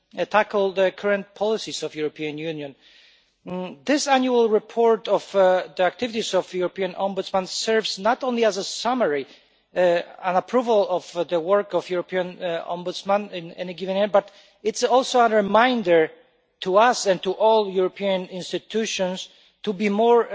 tackle the current policies of the European Union. This annual report on the activities of the European Ombudsman serves not only as a summary and approval of the work of the European Ombudsman in a given year, but it is also a reminder to us and to all the European institutions to be more